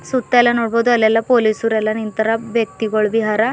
ಸುತ್ತ ಎಲ್ಲಾ ನೋಡ್ಬೋದು ಅಲ್ಲಿ ಎಲ್ಲಾ ಪೊಲೀಸ್ ನಿಂತಾರ ವ್ಯಕ್ತಿಗುಳ್ ಬಿ ಅರ.